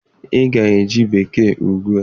Ị ga-eji Bekee ugbu a!